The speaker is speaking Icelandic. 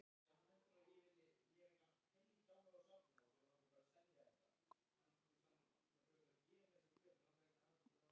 erum við búin að brjóta öll mörk og hömlur og er allt leyfilegt